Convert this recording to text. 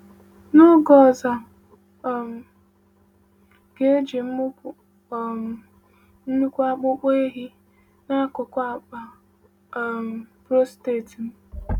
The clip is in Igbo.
N’oge ọzọ, a um ga-eji mụpụ um nnukwu akpụkpọ ehi n’akụkụ akpa um prostate m.